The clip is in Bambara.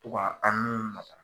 To ka an n'u nata.